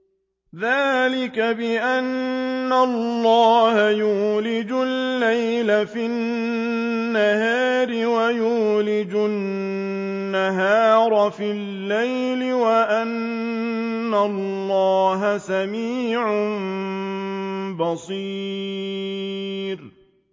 ذَٰلِكَ بِأَنَّ اللَّهَ يُولِجُ اللَّيْلَ فِي النَّهَارِ وَيُولِجُ النَّهَارَ فِي اللَّيْلِ وَأَنَّ اللَّهَ سَمِيعٌ بَصِيرٌ